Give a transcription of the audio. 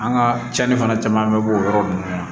An ka cɛnni fana caman bɛ bɔ o yɔrɔ ninnu na